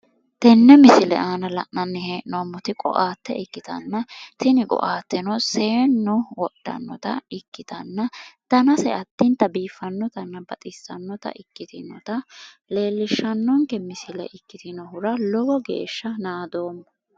Tenne misile aana la'nani he'noomot qoate ikkitana tini qoateno seenu wodhanota ikkitana danase addinita biifanotanna baxissanota ikkitewota leelishanonike misile ikkitinohura lowo geesha naadooma